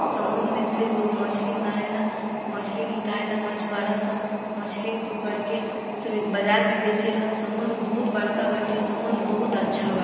समुंदर में से लोग मछली मारेला मछली निकाले ला मछवारा सब मछली पकड़ के सबे बाजार में बेचेला समुंदर बहुत बड़का बाटे समुंदर बहुत अच्छा बा।